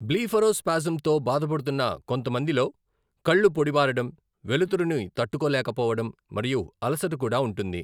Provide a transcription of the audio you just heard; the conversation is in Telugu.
బ్లీఫరోస్పాస్మ్తో బాధపడుతున్న కొంతమందిలో కళ్ళు పొడిబారడం, వెలుతురును తట్టుకోలేకపోవడం మరియు అలసట కూడా ఉంటుంది.